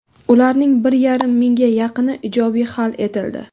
Ularning bir yarim mingga yaqini ijobiy hal etildi.